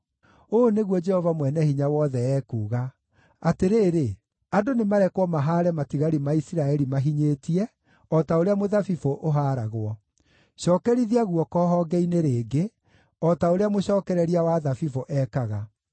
Ũũ nĩguo Jehova Mwene-Hinya-Wothe ekuuga: “Atĩrĩrĩ, andũ nĩmarekwo mahaare matigari ma Isiraeli mahinyĩtie, o ta ũrĩa mũthabibũ ũhaaragwo; cookerithia guoko honge-inĩ rĩngĩ, o ta ũrĩa mũcookereria wa thabibũ ekaga.”